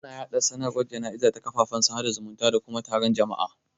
Ana yaɗa sanarwar jana'iza ta kafafen sada zumunta da kuma taron jama'a.